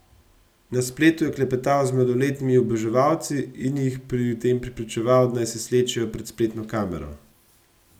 Na spletu je klepetal z mladoletnimi oboževalci in jih pri tem prepričeval, da naj se slečejo pred spletno kamero.